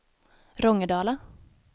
Rångedala